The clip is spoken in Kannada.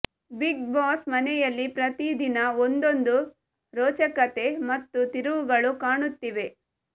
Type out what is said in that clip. ಬಿಗ್ ಬಾಸ್ ಮನೆಯಲ್ಲಿ ಪ್ರತಿ ದಿನ ಒಂದೊಂದು ರೋಚಕತೆ ಮತ್ತು ತಿರುವುಗಳು ಕಾಣುತ್ತಿವೆ